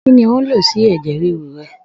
Kí ni ò ń lò sí ẹ̀jẹ̀ ríru rẹ?